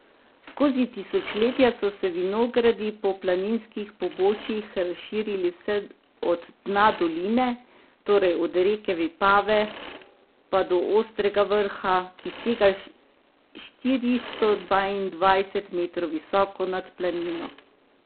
Skozi tisočletja so se vinogradi po planinskih pobočjih razširili vse od dna doline, torej od reke Vipave, pa do Ostrega vrha, ki sega štiristo dvaindvajset metrov visoko nad Planino.